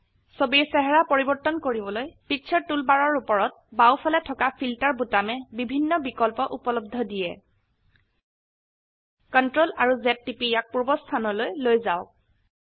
ছবিৰ চেহাৰা পৰিবৰ্তন কৰিবলৈ পিকচাৰ টুলবাৰৰ উপৰত বাও ফালে থকা ফিল্টাৰ বোতামে বিভিন্ন বিকল্প উপলব্ধ দিয়ে CTRL আৰু Z টিপি ইয়াক পূৰ্বাবস্থানলৈ লৈ যাওক